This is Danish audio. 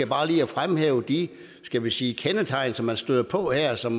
bare lige at fremhæve de skal vi sige kendetegn som man støder på her og som